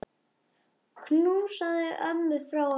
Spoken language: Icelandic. Knúsaðu ömmu frá okkur.